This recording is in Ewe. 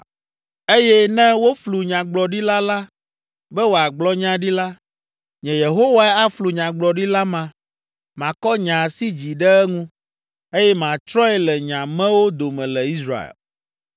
“ ‘Eye ne woflu nyagblɔɖila la be wòagblɔ nya ɖi la, nye Yehowae aflu nyagblɔɖila ma, makɔ nye asi dzi ɖe eŋu, eye matsrɔ̃e le nye amewo dome le Israel.